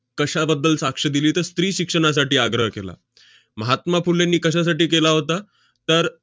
कशाबद्दल साक्ष दिली तर, स्त्रीशिक्षणासाठी आग्रह केला. महात्मा फुलेंनी कशासाठी केला होता? तर